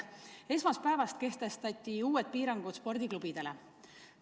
Esmaspäevast kehtestati uued piirangud spordiklubidele.